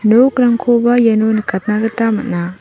nokrangkoba iano nikatna gita man·a.